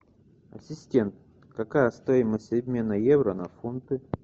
ассистент какая стоимость обмена евро на фунты